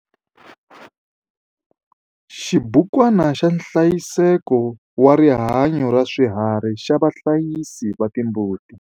Xibukwana xa nhlayiseko wa rihanyo ra swiharhi xa vahlayisi va timbuti.